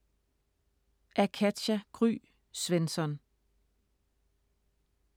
Af Katja Gry Svensson